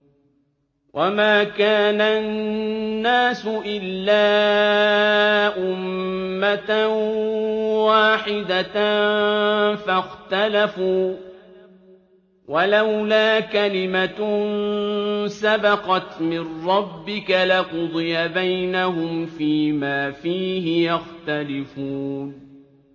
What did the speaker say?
وَمَا كَانَ النَّاسُ إِلَّا أُمَّةً وَاحِدَةً فَاخْتَلَفُوا ۚ وَلَوْلَا كَلِمَةٌ سَبَقَتْ مِن رَّبِّكَ لَقُضِيَ بَيْنَهُمْ فِيمَا فِيهِ يَخْتَلِفُونَ